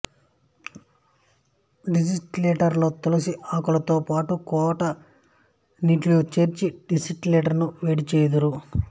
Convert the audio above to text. డిస్టిలేటరులో తులసి ఆకులతో పాటు కోట నీటిని చేర్చి డిస్టిలేటరును వేడిచేయుదురు